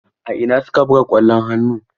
A ina su ka buga ƙwallon hannu?